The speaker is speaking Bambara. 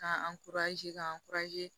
K'an ka